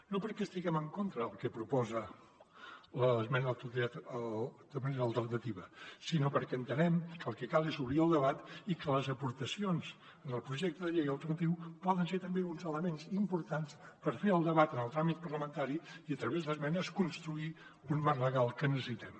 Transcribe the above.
no perquè estiguem en contra del que proposa l’esmena a la totalitat de manera alternativa sinó perquè entenem que el que cal és obrir el debat i que les aportacions en el projecte de llei alternatiu poden ser també uns elements importants per fer el debat en el tràmit parlamentari i a través d’esmenes construir un marc legal que necessitem